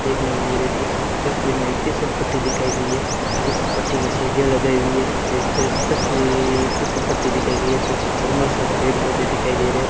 देखने मे मेरे तीस तस्वीर मे एक फिसलपट्टी दिखाई गयी है इस पट्टी के सीढ़ियां लगायी हुई है एक तस्वीर फिसलपट्टी दिखाई गयी है पीछे ज़मर सा पेड़ पौधे दिखाई दे रहे है।